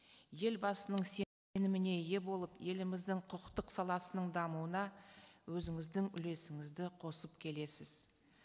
елбасының ие болып еліміздің құқықтық саласының дамуына өзіңіздің үлесіңізді қосып келесіз